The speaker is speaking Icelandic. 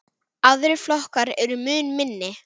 Aðrir flokkar eru mun minni.